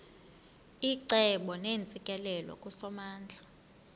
icebo neentsikelelo kusomandla